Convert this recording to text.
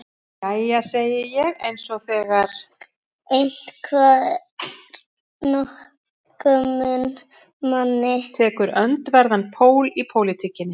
Jæja, segi ég eins og þegar einhver nákominn manni tekur öndverðan pól í pólitíkinni.